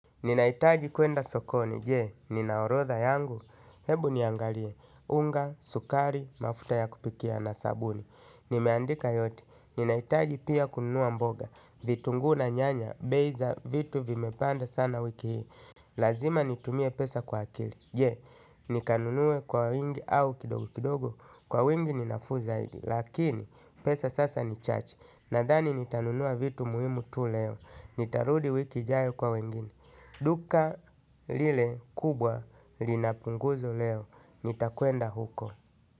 Ninahitaji kwenda sokoni, jee, nina orodha yangu, hebu niangalie, unga, sukari, mafuta ya kupikia na sabuni. Nimeandika yote, ninahitaji pia kununua mboga, vitunguu na nyanya, bei za, vitu vimepanda sana wiki hii. Lazima nitumie pesa kwa akili, jee, nikanunue kwa wingi au kidogo kidogo, kwa wingi ninafuu zaidi, lakini pesa sasa ni chache, nadhani nitanunua vitu muhimu tu leo. Nitarudi wiki ijayo kwa wengine. Duka lile kubwa lina punguzo leo nitakwenda huko.